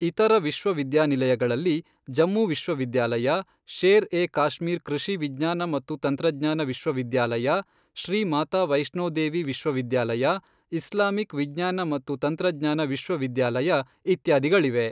ಇತರ ವಿಶ್ವವಿದ್ಯಾನಿಲಯಗಳಲ್ಲಿ, ಜಮ್ಮು ವಿಶ್ವವಿದ್ಯಾಲಯ, ಶೇರ್ ಎ ಕಾಶ್ಮೀರ್ ಕೃಷಿ ವಿಜ್ಞಾನ ಮತ್ತು ತಂತ್ರಜ್ಞಾನ ವಿಶ್ವವಿದ್ಯಾಲಯ, ಶ್ರೀ ಮಾತಾ ವೈಷ್ಣೋ ದೇವಿ ವಿಶ್ವವಿದ್ಯಾಲಯ, ಇಸ್ಲಾಮಿಕ್ ವಿಜ್ಞಾನ ಮತ್ತು ತಂತ್ರಜ್ಞಾನ ವಿಶ್ವವಿದ್ಯಾಲಯ, ಇತ್ಯಾದಿಗಳಿವೆ.